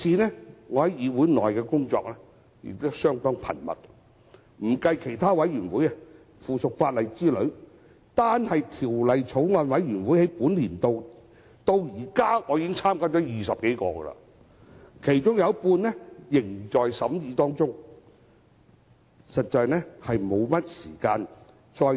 我在議會的工作相當繁重，不計其他委員會及附屬法例委員會等，單是本年度我至今已加入超過20個法案委員會，其中有一半仍在審議階段。